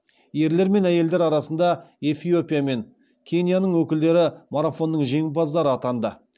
ерлер мен әйелдер арасында эфиопия мен кенияның өкілдері марафонның жеңімпаздары атанды